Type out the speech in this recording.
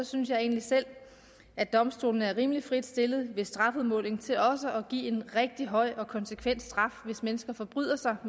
synes jeg egentlig selv at domstolene er rimelig frit stillet ved strafudmålingen til også at give en rigtig høj og konsekvent straf hvis mennesker forbryder sig og